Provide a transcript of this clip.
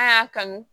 A y'a kanu